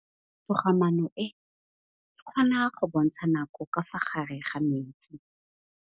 Toga-maanô e, e kgona go bontsha nakô ka fa gare ga metsi.